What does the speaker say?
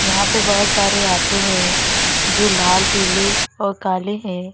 यहां पे बहोत सारे ऑटो है जो लाल पीले और काले हैं।